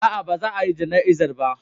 A'a, ba za a yi jana'izar ba.